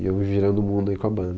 E eu virando o mundo aí com a banda.